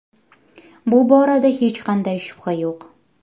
Bu borada hech qanday shubha yo‘q.